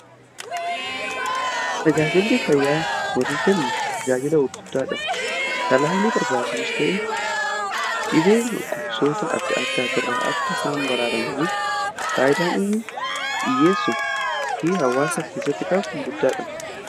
tajaajilli fayyaa horii kennu tajaajila guddaadha. talaallii barbaachisus ta'ee dhibee gosoota adda addaa irraa akka isaan baraaramaniif faayidaan inni dhiyyeessu fi hawaasa keessatti qabu guddaadha.